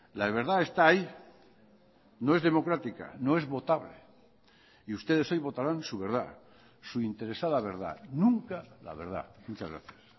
la verdad está ahí no es democrática no es votable y ustedes hoy votarán su verdad su interesada verdad nunca la verdad muchas gracias